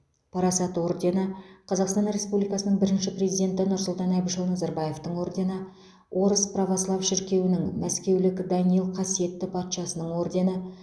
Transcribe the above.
парасат ордені қазақстан республикасының бірінші президенті нұрсұлтан әбішұлы назарбаевтың ордені орыс православ шіркеуінің мәскеулік данил қасиетті патшасының ордені